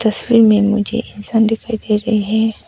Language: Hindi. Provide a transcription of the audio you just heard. तस्वीर में मुझे इंसान दिखाई दे रहे हैं।